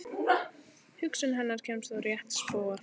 Hugsun hennar kemst á rétt spor.